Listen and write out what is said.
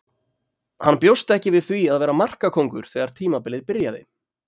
Hann bjóst ekki við því að vera markakóngur þegar tímabilið byrjaði.